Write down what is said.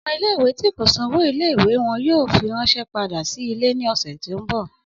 Ọmọ ìle-ìwe ti ko san owo ìle-ìwe wọn yoo firanṣẹ pada si ile ni ọsẹ ti n bọ.